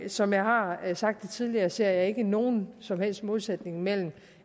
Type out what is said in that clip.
som jeg har sagt det tidligere ser jeg ikke nogen som helst modsætning mellem